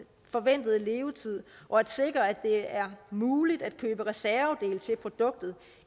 forventede levetid og at sikre at det er muligt at købe reservedele til produktet